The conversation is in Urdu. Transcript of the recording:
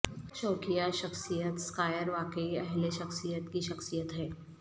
شوقیہ شخصیت سکائر واقعی اہل شخصیت کی شخصیت ہیں